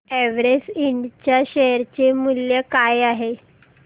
Everest इंड च्या share चे मूल्य काय आहे